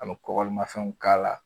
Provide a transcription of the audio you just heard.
A be kɔgɔlimafɛnw k'a la